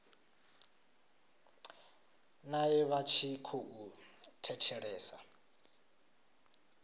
nae vha tshi khou thetshelesa